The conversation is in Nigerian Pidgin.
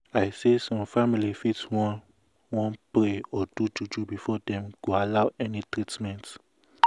i say some family fit wan wan pray or do juju before dem go allow any treatment.